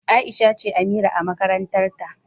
Aisha ce Amira a makarantar ta.